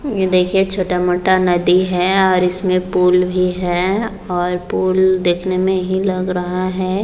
ये देखिए छोटा-मोटा नदी है और इसमें पुल भी है और पुल देखने में ही लग रहा है।